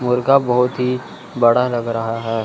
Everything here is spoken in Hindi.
मुर्गा बहुत ही बड़ा लग रहा है।